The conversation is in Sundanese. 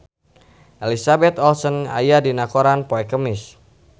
Elizabeth Olsen aya dina koran poe Kemis